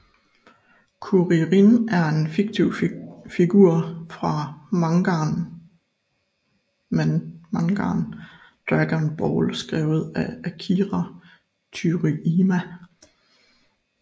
Kuririn er en fiktiv figur fra mangaen Dragon Ball skrevet af Akira Toryiama